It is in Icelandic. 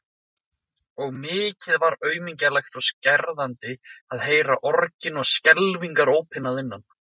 Og mikið var aumlegt og skerandi að heyra orgin og skelfingarópin að innan.